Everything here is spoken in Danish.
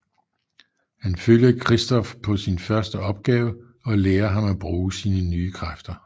Han følger Christof på sin første opgave og lære ham at bruge sine nye kræfter